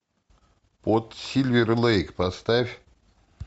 под сильвер лэйк поставь